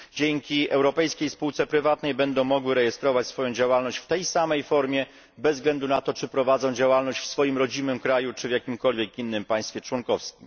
Dzięki europejskiej spółce prywatnej będą mogły rejestrować swoją działalność w tej samej formie bez względu na to, czy prowadzą działalność w swoim państwie macierzystym czy w jakimkolwiek innym państwie członkowskim.